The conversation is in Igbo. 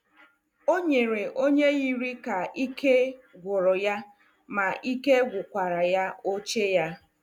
O nyere onye yiri ka ike gwụrụ ya ma ike gwụkwara ya oche ya.